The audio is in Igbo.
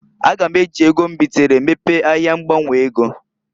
A ga m eji ego m bitere mepee ahia ngbanwe ego.